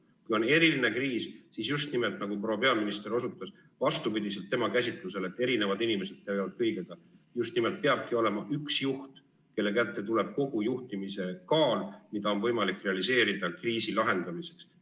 Kui on eriline kriis, nagu proua peaminister osutas, siis vastupidiselt tema käsitlusele, et erinevad inimesed tegelevad kõigega, just nimelt peabki olema üks juht, kelle kätte tuleb kogu juhtimise kaal, mida on võimalik realiseerida kriisi lahendamiseks.